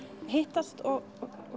hittast og